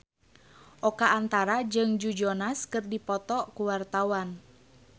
Oka Antara jeung Joe Jonas keur dipoto ku wartawan